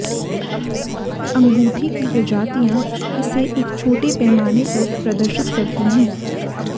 अंगूठी की प्रजातियां इसे एक छोटे पैमाने पर प्रदर्शित करती हैं